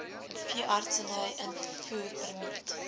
n veeartseny invoerpermit